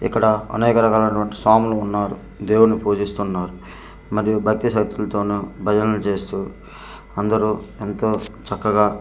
ఇక్కడ అనేకరకాలు అటువంటి సాములు ఉన్నారు దేవుణ్ణి పూజిస్తున్నారు మరియు భక్తి శ్రద్దాలతోనూ భజనలు చేస్తూ అందరూ ఎంతో చక్కగా ఇక్కడ.